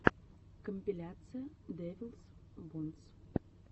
компиляция дэвилс бонс